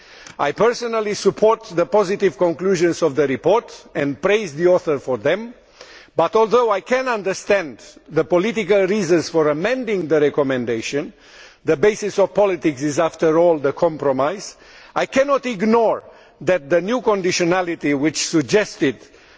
I personally support the positive conclusions of the report and praise the author for them but, although I can understand the political reasons for amending the recommendation the basis of politics is, after all, compromise I cannot ignore the fact that the new conditionality suggested might